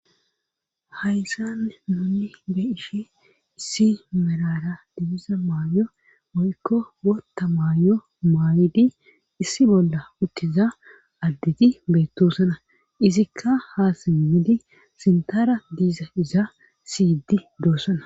hayssan nuni be ishe issi merara diiza maayo woykko bootta maayo maayidi issi bolla uttiza additi beettosana izikka ha simmidi sintara diiza iza siyididoosana